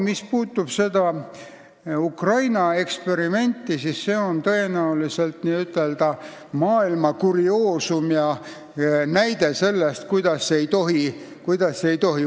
Mis puudutab seda Ukraina eksperimenti, siis see on tõenäoliselt kurioosum ja näide selle kohta, kuidas ei tohiks teha.